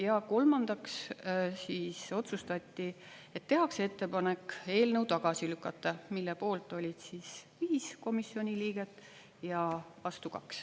Ja kolmandaks otsustati, et tehakse ettepanek eelnõu tagasi lükata, selle poolt oli 5 komisjoni liiget ja vastu 2.